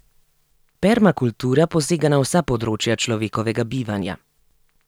Permakultura posega na vsa področja človekovega bivanja.